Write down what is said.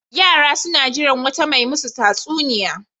Yara sun jira wata mai masu tatsuniya.